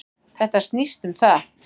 Þetta snýst um það.